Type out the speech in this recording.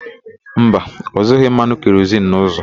Mba, ọ zụghị mmanụ kerozin n'ụzọ.